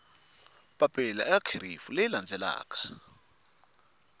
papila eka kherefu leyi landzelaka